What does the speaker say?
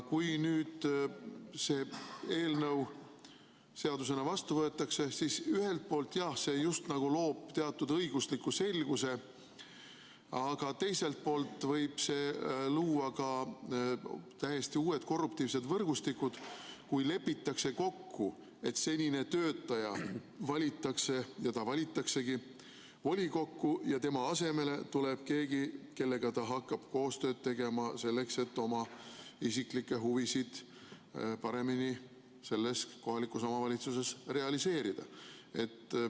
Kui nüüd see eelnõu seadusena vastu võetakse, siis ühelt poolt jah, see just nagu loob teatud õigusliku selguse, aga teiselt poolt võib see luua ka täiesti uued korruptiivsed võrgustikud, kui lepitakse kokku, et volikokku valitakse senine töötaja, ning ta valitaksegi ja tema asemele tuleb keegi, kellega ta hakkab koostööd tegema selleks, et oma isiklikke huvisid selles kohalikus omavalitsuses paremini realiseerida.